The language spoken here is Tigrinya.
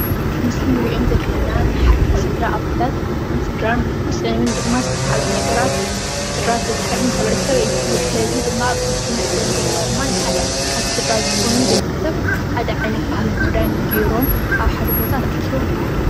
እዚ እንሪኦም ዘለና ናይ ሓደ ስድራ ኣባላት ኮይኖም ስድራን ማሕበረሰብን ድማ ዝተታሓዙ ነገራት እዮም፡፡ ስድራ እንተዘይሃልዩ ማሕበረሰብ ኣይህሉን፡፡ ስለዚ ድማ ኣብዚ ምስሊ እንዕዘቦም ዘለና ድማ ናይ ሓደ ኣካል ዝኮኑ ስድራ ቤተሰብ ሓደ ዓይነት ባህላዊ ክዳን ጌሮም ኣብ ሓደ ቦታ ተኣኪቦም እዮም፡፡